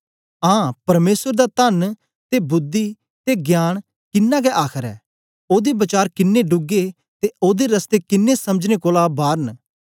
आं परमेसर दा तन्न ते बुद्धि ते ज्ञान किनां गै आखर ऐ ओदे वचार किनें डूगे ते ओदे रस्ते किन्नें समझने कोलां बार न